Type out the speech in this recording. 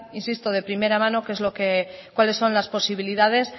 insisto de primera mano qué es lo que cuáles son las posibilidades